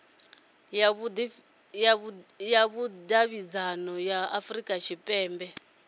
ya vhudavhidzano ya afurika tshipembe